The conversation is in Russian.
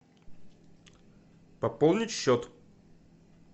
пополнить счет